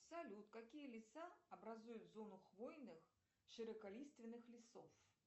салют какие леса образуют зону хвойных широколиственных лесов